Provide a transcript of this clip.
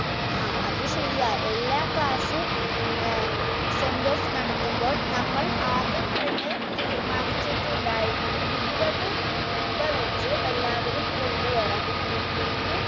ആ അത് ശരിയാ എല്ലാ class ഏർ sendoff നടത്തുമ്പോൾ നമ്മൾ ആദ്യം തന്നെ തീരുമാനിച്ചിട്ടുണ്ടായിരുന്നു ഇരുവത് രൂപ വച്ച് എല്ലാവരും കൊണ്ട് വരാൻ പിന്നെ